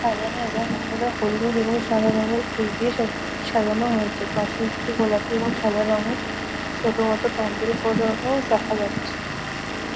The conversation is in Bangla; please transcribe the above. সাজানো এবং ওপরে হলুদ এবং সাদা রঙের ফুল দিয়ে সত সাজানো হয়েছে। পাশে একটি গোলাপি ও সাদা রঙের ছোট মতো প্যান্ডেল কারোও দেখা যাচ্ছে।